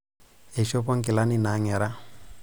Eishopo inkilani naang'era.